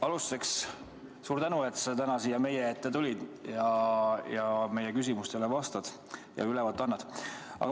Alustuseks suur tänu, et sa täna siia meie ette tulid ja meie küsimustele vastad ja ülevaate annad!